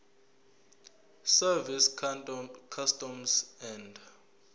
service customs and